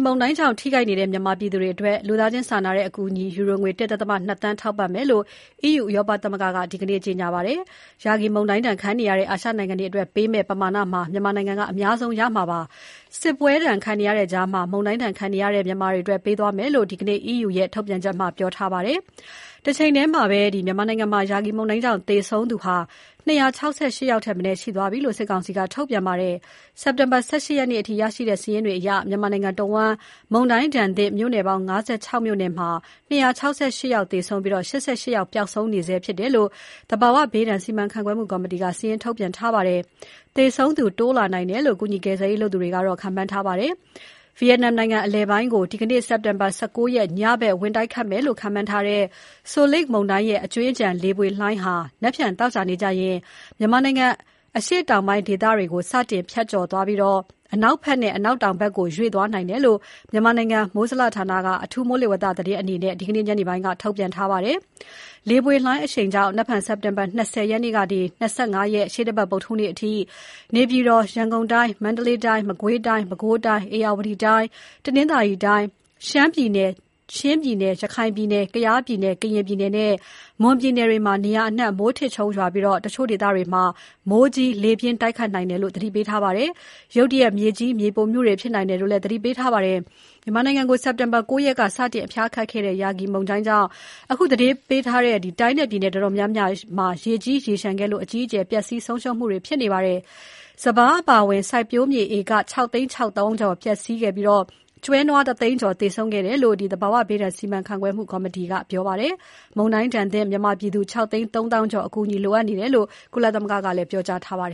မုန်တိုင်းကြောင့် ထိခိုက်နေတဲ့ မြန်မာပြည်သူတွေအတွက် လူသားချင်းစာနာတဲ့အကူအညီ ယူရိုငွေ ၁.၂ သန်းထောက်ပံ့မယ်လို့ EU ဥရောပသမဂ္ဂက ဒီနေ့ ကြေညာပါတယ်။ Yagi မုန်တိုင်းဒဏ်ခံနေရတဲ့ အာရှနိုင်ငံတွေအတွက်ပေးမယ့် ပမာဏမှာ မြန်မာနိုင်ငံက အများဆုံးရမှာဖြစ်ပါတယ်။ စစ်ပွဲဒဏ်ခံနေရတဲ့ကြားမှာ မုန်တိုင်းဒဏ်ခံနေရတဲ့ မြန်မာအတွက်ပေးမှာဖြစ်တယ်လို့ ဒီနေ့ EU ရဲ့ ထုတ်ပြန်ချက်မှာ ပြောထားပါတယ်။ တချိန်ထဲမှာ မြန်မာနိုင်ငံမှာ Yagi မုန်တိုင်းကြောင့် သေဆုံးသူ ၂၆၈ ယောက်ထက်မနည်း ရှိသွားပြီလို့ စစ်ကောင်စီက ထုတ်ပြန်ပါတယ်။ စက်တင်ဘာ ၁၈ ရက်နေ့အထိ ရရှိတဲ့စာရင်းတွေအရ မြန်မာနိုင်ငံတဝန်း မုန်တိုင်းဒဏ်သင့် မြို့နယ်ပေါင်း ၅၆ မြို့နယ်မှာ ၂၆၈ ဦးသေဆုံးပြီး ၈၈ ယောက်ပျောက်ဆုံးနေဆဲဖြစ်တယ်လို့ သဘာဝဘေးဒဏ်စီမံခန့်ခွဲမှုကော်မတီက စာရင်းထုတ်ပြန်ထားပါတယ်။ သေဆုံးသူ တိုးလာနိုင်တယ်လို့ ကူညီ ကယ်ဆယ်ရေးလုပ်သူတွေက ခန့်မှန်းထားပါတယ်။ ဗီယက်နမ်နိုင်ငံ အလယ်ပိုင်းကို ဒီနေ့ စက်တင်ဘာ ၁၉ ရက် ညဘက် ဝင်တိုက်ခတ်မယ်လို့ခန့်မှန်းထားတဲ့ Soulik မုန်တိုင်းရဲ့ အကြွင်းအကျန် လေပွေလှိုင်းဟာ မနက်ဖြန် သောကြာနေ့ကျရင် မြန်မာနိုင်ငံ အရှေ့တောင်ပိုင်း ဒေသတွေကို စတင် ဖြတ်ကျော်ပြီး အနောက်နဲ့ အနောက်တောင်ဘက်ကို ရွေ့သွားနိုင်တယ်လို့ မြန်မာနိုင်ငံ မိုးဇလဌာနက အထူးမိုးလေဝသသတင်းအနေနဲ့ ဒီနေ့ ညနေပိုင်းက ထုတ်ပြန်ထားပါတယ်။ လေပွေလှိုင်းအရှိန်ကြောင့် မနက်ဖြန် စက်တင်ဘာ ၂၀ ကနေ ၂၅ ရက်၊ ရှေ့တပတ် ဗုဒ္ဓဟူးနေ့အထိ နေပြည်တော်၊ ရန်ကုန်တိုင်း၊ မန္တလေးတိုင်း၊ မကွေးတိုင်း၊ ပဲခူးတိုင်း၊ ဧရာဝတီတိုင်း၊ တနင်္သာရီတိုင်း၊ ရှမ်းပြည်နယ်၊ ချင်းပြည်နယ်၊ ရခိုင်ပြည်နယ်၊ ကယားပြည်နယ်၊ ကရင်ပြည်နယ်နဲ့ မွန်ပြည်နယ်တွေမှာ နေရာအနှံ့ မိုးထစ်ချုန်းရွာပြီး၊ အချို့ဒေသတွေမှာ မိုးကြီး၊ လေပြင်း တိုက်ခတ်နိုင်တယ်လို့ သတိပေးထားပါတယ်။ ရုတ်တရက်ရေကြီး မြေပြိုမှုတွေဖြစ်နိုင်တယ်လို့လည်း သတိပေးထားပါတယ်။ မြန်မာနိုင်ငံကို စက်တင်ဘာ ၉ ရက်က စတင် အဖျားခတ်ခဲ့တဲ့ Yagi မုန်တိုင်းကြောင့် အခုသတိပေးထားတဲ့ တိုင်းနဲ့ ပြည်နယ်တော်တော်များများမှာ ရေကြီး ရေလျှံခဲ့လို့ အကြီးအကျယ် ပျက်စီးဆုံးရှုံးမှုတွေ ဖြစ်ထားပါတယ်။ စပါးအပါအဝင် စိုက်ပျိုးမြေဧက ၆ သိန်း ၆ သောင်းကျော်ပျက်စီးခဲ့ပြီး ကျွဲ နွား ၁ သိန်းကျော် သေဆုံးခဲ့တယ်လို့ သဘာဝဘေးဒဏ်စီမံခန့်ခွဲမှုကော်မတီက ပြောပါတယ်။ မုန်တိုင်းဒဏ်သင့် မြန်မာပြည်သူ ၆ သိန်း ၃ သောင်းကျော် အကူအညီ လိုအပ်နေတယ်လို့ ကုလသမဂ္ဂက ပြောကြားထားပါ